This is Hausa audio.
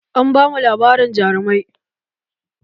An bamu labarin jarumai